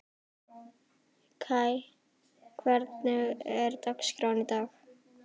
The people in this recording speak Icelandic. Kai, hvernig er dagskráin í dag?